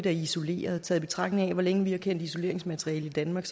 isolerede taget i betragtning af hvor længe vi har kendt isoleringsmateriale i danmark